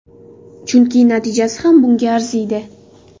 Chunki natijasi ham bunga arziydi.